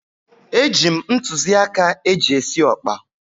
Eji m ntụzịaka eji esi ọkpa.